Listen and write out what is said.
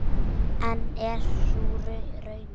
En er sú raunin?